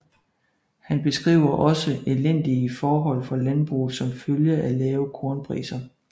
Han beskriver også elendige forhold for landbruget som følge af lave kornpriser